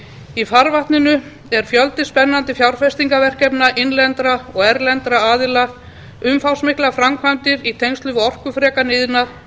í farvatninu er fjöldi spennandi fjárfestingarverkefna innlendra og erlendra aðila umfangsmiklar framkvæmdir í tengslum við orkufrekan iðnað